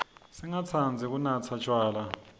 singatsandzi kunatsa tjwala